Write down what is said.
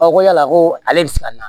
ko yala ko ale bɛ se ka na